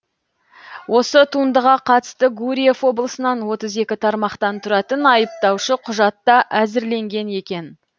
осы туындыға қатысты гурьев облысынан отыз екі тармақтан тұратын айыптаушы құжат та әзірленген екен